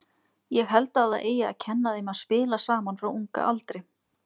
Ég held að það eigi að kenna þeim að spila saman frá unga aldri.